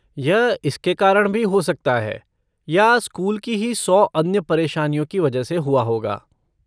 यह इसके कारण भी हो सकता है या स्कूल की ही सौ अन्य परेशानियों की वजह से हुआ होगा।